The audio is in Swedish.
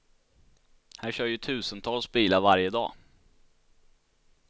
Här kör ju tusentals bilar varje dag.